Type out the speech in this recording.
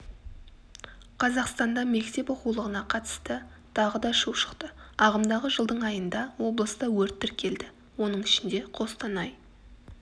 қазақстанда мектеп оқулығына қатысты тағы дашу шықты ағымдағы жылдың айында облыста өрт тіркелді оның ішінде қостанай